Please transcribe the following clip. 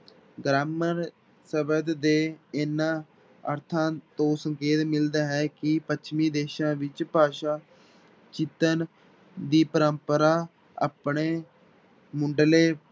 Grammar ਸ਼ਬਦ ਦੇ ਇਹਨਾਂ ਅਰਥਾਂ ਤੋਂ ਸੰਕੇਤ ਮਿਲਦਾ ਹੈ ਕਿ ਪੱਛਮੀ ਦੇਸਾਂ ਵਿੱਚ ਭਾਸ਼ਾ ਚਿਤਰਨ ਦੀ ਪਰੰਪਰਾ ਆਪਣੇ ਮੁੱਢਲੇ